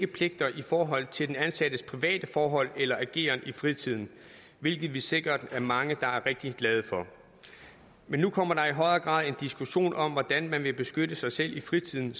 pligter i forhold til den ansattes private forhold eller ageren i fritiden hvilket vi sikkert er mange der er rigtig glade for men nu kommer der i højere grad en diskussion om hvordan man vil beskytte sig selv i fritiden